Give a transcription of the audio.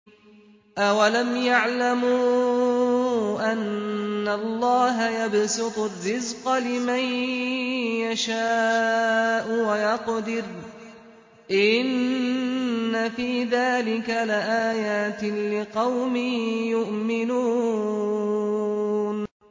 أَوَلَمْ يَعْلَمُوا أَنَّ اللَّهَ يَبْسُطُ الرِّزْقَ لِمَن يَشَاءُ وَيَقْدِرُ ۚ إِنَّ فِي ذَٰلِكَ لَآيَاتٍ لِّقَوْمٍ يُؤْمِنُونَ